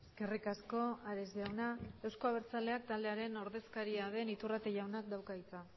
eskerrik asko ares jauna euzko abertzaleak taldearen ordezkaria den iturrate jaunak dauka hitza